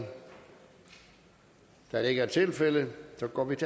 da det ikke er tilfældet går vi til